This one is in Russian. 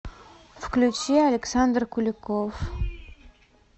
включи александр куликов